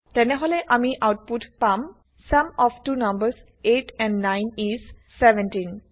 তেনেহলে আমি আউটপুট পাম sum of the numbers 8 and 9 is 17